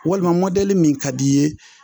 Walima mɔdeli min ka d'i ye